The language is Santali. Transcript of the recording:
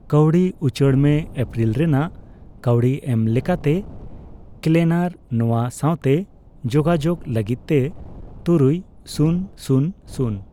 ᱠᱟᱣᱰᱤ ᱩᱪᱟᱹᱲ ᱢᱮ ᱮᱯᱨᱤᱞ ᱨᱮᱱᱟᱜ ᱠᱟᱣᱰᱤ ᱮᱢ ᱞᱮᱠᱟᱛᱮ, ᱠᱞᱮᱱᱟᱨ ᱱᱚᱣᱟ ᱥᱟᱣᱛᱮ ᱡᱳᱜᱟᱡᱳᱜᱽ ᱞᱟᱜᱤᱫ ᱛᱮ ᱛᱩᱨᱩᱭ ᱥᱩᱱ ᱥᱩᱱ ᱥᱩᱱ ᱾